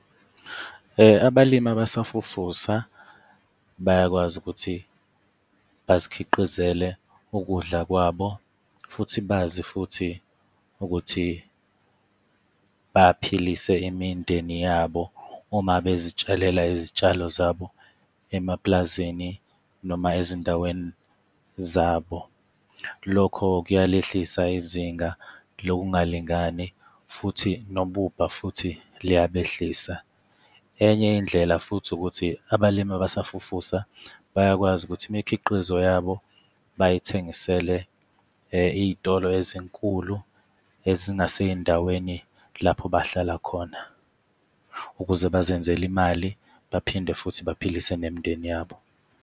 Abalimi abasafufusa bayakwazi ukuthi bazikhiqizele ukudla kwabo, futhi bazi futhi ukuthi baphilise imindeni yabo uma bezitshalela izitshalo zabo emapulazini noma ezindaweni zabo. Lokho kuyalehlisa izinga lokungalingani futhi nobubha futhi liyabehlisa. Enye indlela futhi ukuthi abalimi abasafufusa bayakwazi ukuthi imikhiqizo yabo bayithengisele iy'tolo ezinkulu ezingasezindaweni lapho bahlala khona ukuze bazenzele imali, baphinde futhi baphilise nemindeni yabo.